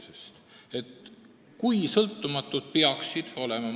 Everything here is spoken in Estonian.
Selle kohta ei ole minu arvates nagu midagi öelda.